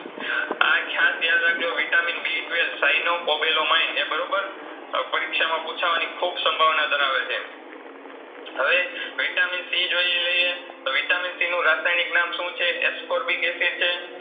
આ ખાસ યાદ રાખજો Vitamin B twelve Cyanocobalamin એ બરોબર અ પરીક્ષામાં પૂછવાની ખૂબ સંભાવના ધરાવે છે એમ હવે Vitamin C જોઇલાઈએ Vitamin C નું રાસાયનીક નામ શુંછે ascorbic acid છે.